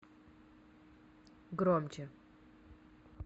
громче